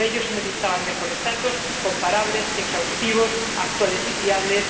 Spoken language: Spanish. Para ello se necesitaban mejores datos comparables, exhaustivos, actuales y fiables